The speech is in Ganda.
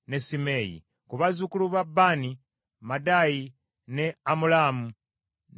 Ku bazzukulu ba Baani: Maadayi, ne Amulaamu, ne Uweri,